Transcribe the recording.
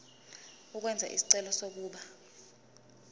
ukwenza isicelo sokuba